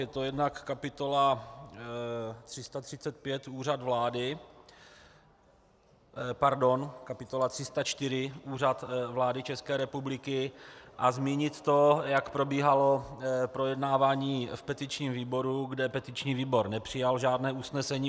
Je to jednak kapitola 335 Úřad vlády... pardon, kapitola 304 Úřad vlády České republiky, a zmínit to, jak probíhalo projednávání v petičním výboru, kde petiční výbor nepřijal žádné usnesení.